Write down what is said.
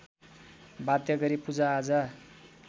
वाध्य गरी पूजाआजा